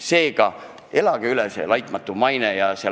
Seega elage üle see "laitmatu maine"!